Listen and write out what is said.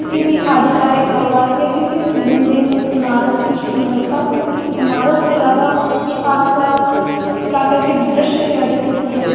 किसी भी आधिकारिक आवास या किसी भी बिल्डिंग ईमारत की सुन्दरता उसके इमारत से जादा उसके आसपास प्राकर्तिक द्रश्य से अधिक होती है और --